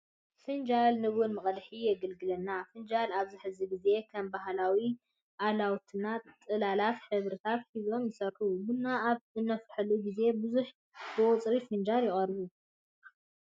ፍንጃል ንቡና መቅድሒ የገልግለና። ፈናጅን ኣብዚ ሕዚ ግዜ ከም ባህላዊ ኣላውትና ጥለታትን ሕብርታት ሒዞም ይስርሑ። ቡና ኣብ እነፍልሓሉ ግዘ ብዙሓት ብቁፅሪ ፈናጅል ይቀርቡ።